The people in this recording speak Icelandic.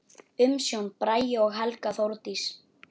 Umsjón: Bragi og Helga Þórdís.